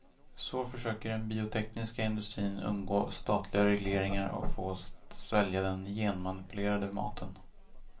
Så försöker den biotekniska industrin undgå statliga regleringar och få oss att svälja den genmanipulerade maten.